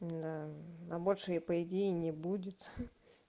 да на большее и по идее не будет